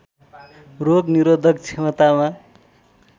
रोग निरोधक क्षमतामा